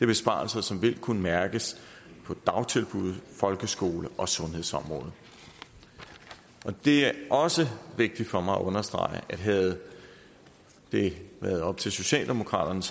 besparelser som vil kunne mærkes på dagtilbud folkeskolen og sundhedsområdet det er også vigtigt for mig at understrege at havde det været op til socialdemokraterne